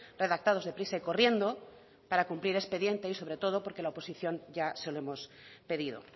redactados deprisa y corriendo para cumplir expediente y sobre todo porque la oposición ya se lo hemos pedido